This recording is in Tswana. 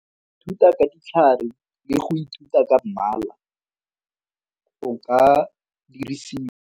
Thuta ka ditlhare le go ithuta ka mmala o ka dirisiwa.